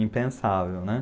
Impensável, né?